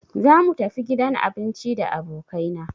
Za mu tafi gidan abinci da abokai na